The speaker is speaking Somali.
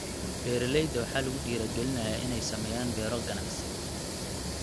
Beeralayda waxaa lagu dhiirigelinayaa inay sameeyaan beero ganacsi.